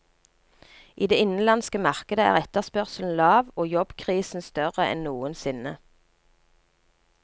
I det innenlandske markedet er etterspørselen lav og jobbkrisen større enn noensinne.